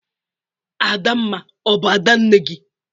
Adamma ọ bụ Ada nne gị?